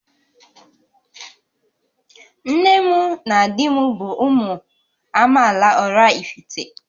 Nne m na di m bụ ụmụ amaala Oraifite